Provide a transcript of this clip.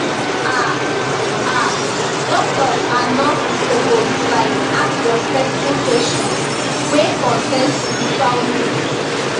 um um doctors and nurses suppose laik ask respectful kweshion wey concern spiritual needs